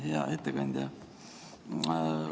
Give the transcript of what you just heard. Hea ettekandja!